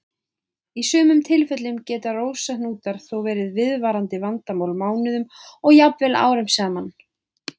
Í sumum tilfellum geta rósahnútar þó verið viðvarandi vandamál mánuðum og jafnvel árum saman.